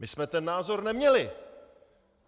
My jsme ten názor neměli.